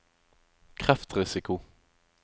kreftrisiko